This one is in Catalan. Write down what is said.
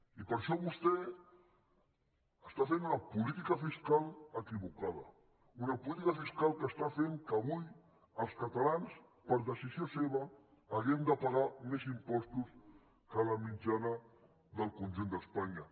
i per això vostè està fent una política fiscal equivocada una política fiscal que està fent que avui els catalans per decisió seva hàgim de pagar més impostos que la mitjana del conjunt d’espanya